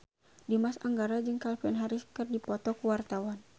Dimas Anggara jeung Calvin Harris keur dipoto ku wartawan